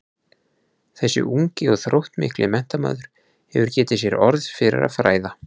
Þessi ungi og þróttmikli menntamaður hafði getið sér orð fyrir að fræða